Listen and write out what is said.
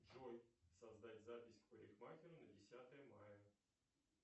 джой создать запись к парикмахеру на десятое мая